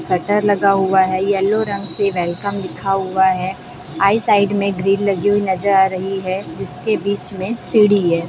Shutter लगा हुआ है। येल्लो रंग से वेलकम लिखा हुआ है। आई साइड में ग्रील लगी हुई नजर आ रही है जिसके बीच में सीढ़ी है।